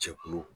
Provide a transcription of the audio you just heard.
Cɛkulu